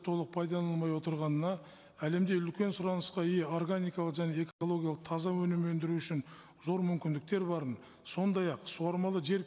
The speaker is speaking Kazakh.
толық пайдаланылмай отырғанына әлемде үлкен сұранысқа ие органикалық және экологиялық таза өнім өндіру үшін зор мүмкіндіктер барын сондай ақ суармалы жер